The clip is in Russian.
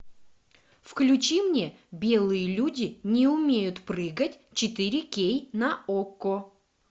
включи мне белые люди не умеют прыгать четыре кей на окко